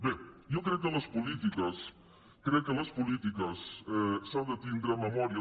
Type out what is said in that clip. bé jo crec que en les polítiques crec que en les polítiques s’ha de tindre memòria